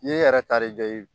N'i yɛrɛ ta re tɛ ye